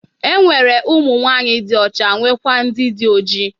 E nwere ụmụnwanyị dị ọcha nwekwaa ndị dị oji.